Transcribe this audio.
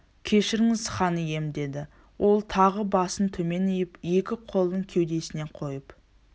кешіріңіз хан ием деді ол тағы басын төмен иіп екі қолын кеудесіне қойып